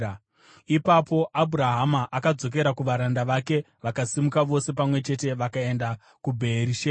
Ipapo Abhurahama akadzokera kuvaranda vake, vakasimuka vose pamwe chete vakaenda kuBheerishebha.